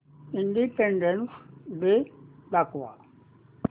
independence day दाखव